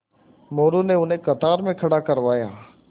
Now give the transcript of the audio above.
मोरू ने उन्हें कतार में खड़ा करवाया